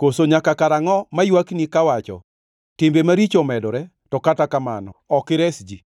Koso nyaka karangʼo maywakni kawacho, “Timbe maricho omedore!” To kata kamano ok ires ji?